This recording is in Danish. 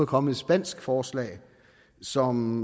kommet et spansk forslag som